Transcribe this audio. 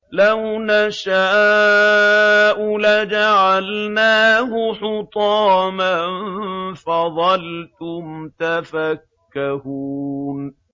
لَوْ نَشَاءُ لَجَعَلْنَاهُ حُطَامًا فَظَلْتُمْ تَفَكَّهُونَ